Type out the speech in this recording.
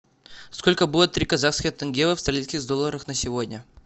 сколько будет три казахских тенге в австралийских долларах на сегодня